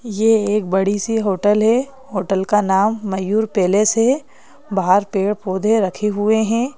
ये एक बड़ी सी होटल है होटल का नाम मयूर पैलेस है बाहर पेड़-पौधे रखे हुए हैं।